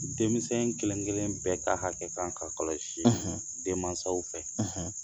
Denmisɛn kelen-kelen bɛɛ ka hakɛ kan ka kɔlɔsi denmansaw fɛ